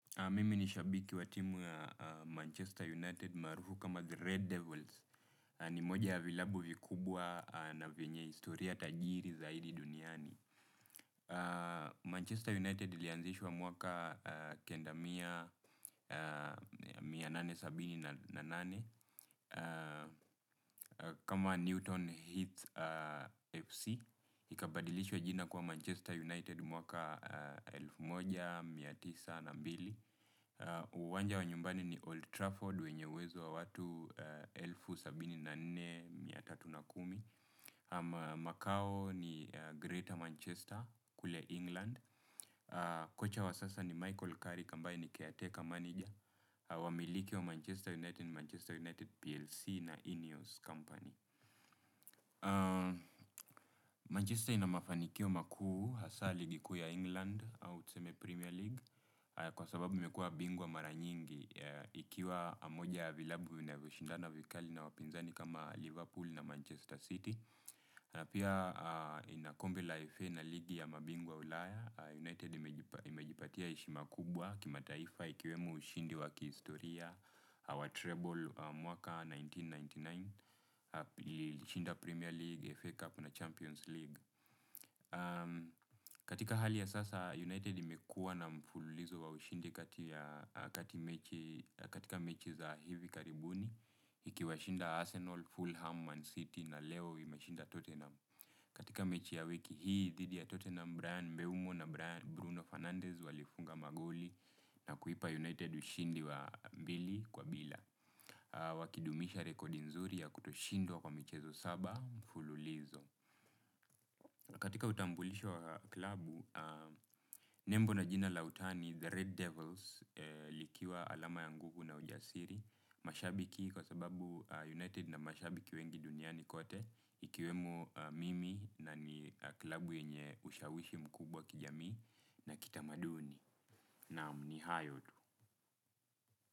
Mimi ni shabiki wa timu Manchester United marufu kama The Red Devils ni moja ya vilabu vikubwa na vienye istoria tajiri zaidi duniani. Manchester United lianzishwa mwaka kendamia mia moja na themanini na saba na nane kama Newton Heath FC. Ikabadilishwa jina kwa Manchester United mwaka elfu moja mia tisa na mbili. Uwanja wa nyumbani ni Old Trafford, wenye uwezo wa watu sabini na nne mia tatu na kumi. Makao ni Greater Manchester, kule England. Kocha wa sasa ni Michael Curry, aambaye ni caretaker Manager. Wamiliki wa Manchester United, Manchester United PLC na Ineos Company Manchester inamafanikio makuu hasa ligi kuu ya England Au tseme Premier League. Kwa sababu mekua bingwa maranyingi, ikiwa moja ya vilabu vinavyoshindana vikali na wapinzani kama Liverpool na Manchester City. Napia ina kombe la FA na ligi ya mabingwa ulaya, United imejipatia heshima kubwa kimataifa ikiwemo ushindi wa kihistoria wa treble mwaka elfu moja na mia tisa na tisini na tisa. Ilishinda Premier League, FA Cup na Champions League. Katika hali ya sasa United imekua na mfululizo wa ushindi katika mechi za hivi karibuni iki washinda Arsenal, Fulham, Man City na leo imeshinda Tottenham. Katika mechi ya wiki hii dhidi ya Tottenham braian, Mbeumo na Bruno Fernandez walifunga magoli na kuipa United ushindi wa mbili kwa bila wakidumisha rekodi nzuri ya kutoshindwa kwa michezo saba mfululizo. Katika utambulisho wa klabu, nembo na jina la utani The Red Devils likiwa alama ya nguvu na ujasiri, mashabiki kwa sababu United na mashabiki wengi duniani kote, ikiwemo mimi na ni klabu yenye ushawishi mkubwa kijamii na kitamaduni naam ni hayo tu.